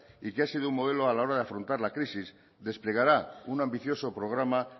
y que ha sido un modelo a la hora de afrontar la crisis desplegará un ambicioso programa